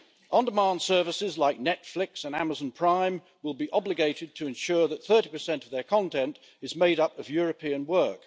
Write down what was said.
On demand services like Netflix and Amazon Prime will be obligated to ensure that 30 of their content is made up of European work.